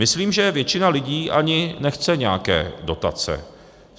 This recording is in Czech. Myslím, že většina lidí ani nechce nějaké dotace.